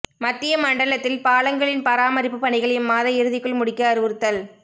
மத்திய மண்டலத்தில் பாலங்களின் பராமரிப்பு பணிகள் இம்மாத இறுதிக்குள் முடிக்க அறிவுறுத்தல்